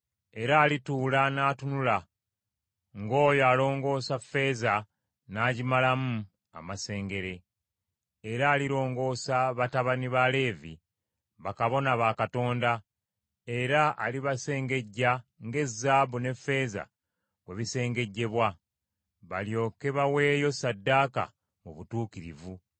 Era alituula n’atunula ng’oyo alongoosa ffeeza n’agimalamu amasengere, era alirongoosa batabani ba Leevi, bakabona ba Katonda, era alibasengejja ng’ezaabu n’effeeza bwe bisengejjebwa; balyoke baweeyo ssaddaaka mu butuukirivu.